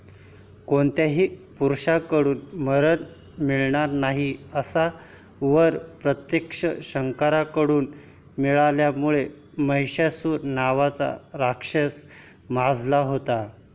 कोणत्याही पुरुषाकडून मरण मिळणार नाही असा वर प्रत्यक्ष शंकरांकडून मिळाल्यामुळे महिषासुर नावाचा राक्षस माजला होता.